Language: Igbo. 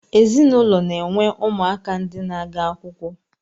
Ezinụlọ na-enwe ụmụaka ndi na-aga akwụkwọ